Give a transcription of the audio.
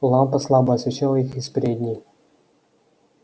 лампа слабо освещала их из передней